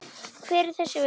Hver er þessi vegur?